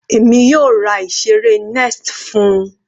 Èmi yóò ra ìseré nest fún-un.